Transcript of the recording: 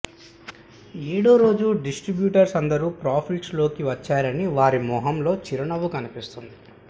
ఏడో రోజు డిస్ట్రిబ్యూటర్స్ అందరూ ప్రాఫిట్స్లోకి వచ్చారని వారి మోహంలో చిరునవ్వు కనిపిస్తుంది